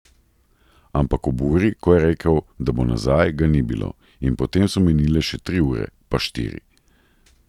Ampak ob uri, ko je rekel, da bo nazaj, ga ni bilo, in potem so minile še tri ure, pa štiri.